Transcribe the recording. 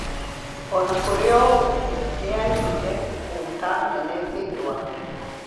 O na kũrĩ ũguo, nĩ aaiguire hota nene thĩinĩ wake.